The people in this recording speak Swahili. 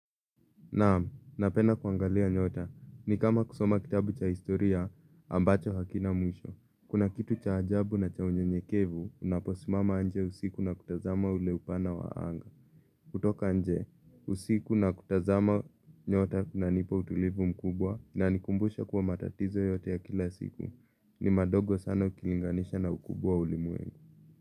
Naam, napenda kuangalia nyota. Ni kama kusoma kitabu cha historia ambacho hakina mwisho. Kuna kitu cha ajabu na cha unyenyekevu, unaposimama nje usiku na kutazama ule upana wa anga. Kutoka nje, usiku na kutazama nyota kunanipa utulivu mkubwa inanikumbusha kuwa matatizo yote ya kila siku. Ni madogo sana ukilinganisha na ukubwa wa ulimwengu.